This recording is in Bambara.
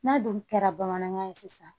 N'a dun kɛra bamanankan ye sisan